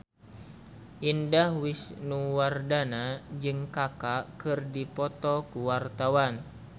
Indah Wisnuwardana jeung Kaka keur dipoto ku wartawan